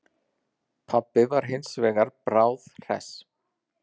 Pabbi var hins vegar bráðhress.